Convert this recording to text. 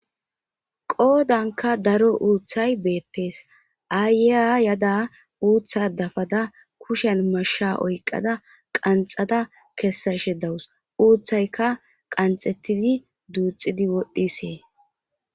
Qoodankka daro uuththay beettees,aayiya yaada uuththa dafada kushiyan mashsha oykkada qanxa kessashe dawus ,uuththayika qanxettidi duuxxi wodhdhides.